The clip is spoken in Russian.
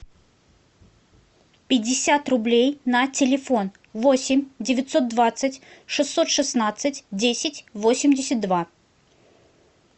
пятьдесят рублей на телефон восемь девятьсот двадцать шестьсот шестнадцать десять восемьдесят два